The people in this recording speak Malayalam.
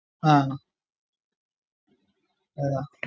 ആഹ്